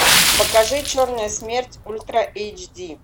покажи черная смерть ультра эйч ди